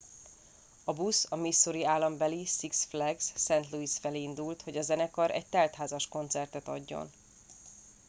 a busz a missouri állambeli six flags st louis felé indult hogy a zenekar egy teltházas koncertet adjon